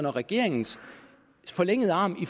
og regeringens forlængede arm i